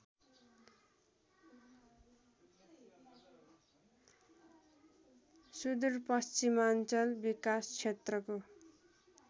सुदूरपश्चिमाञ्चल विकासक्षेत्रको